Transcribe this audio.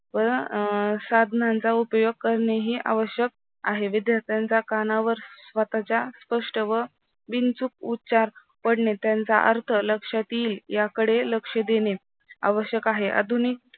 अ साधनांचा उपयोग करणे ही आवश्यक आहे. विद्यार्थ्यांच्या कानावर स्वतःचा कष्ट व बिनचूक उच्चार पडणे त्यांचा अर्थ लक्षात येईल याकडे लक्ष देणे आवश्यक आहे आधुनिक